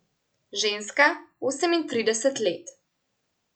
Ženska, osemintrideset let.